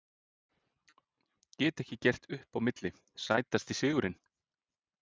Get ekki gert upp á milli Sætasti sigurinn?